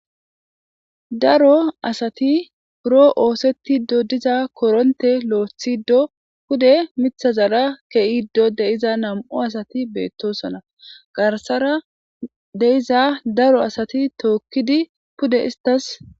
daro asati puro oosetido diza koronte lo7thiddo pude mithazara ke7iddo deiza nam7o asati beettosona garsara deiza daro asati tookkidi pude istas